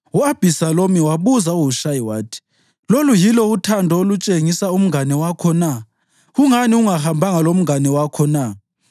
U-Abhisalomu wabuza uHushayi wathi, “Lolu yilo uthando olutshengisa umngane wakho na? Kungani ungahambanga lomngane wakho na?”